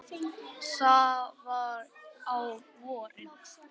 Það var á vorin.